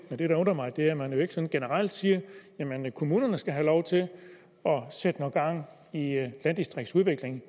men det der undrer mig er at man ikke sådan generelt siger at kommunerne skal have lov til at sætte noget gang i landdistriktsudviklingen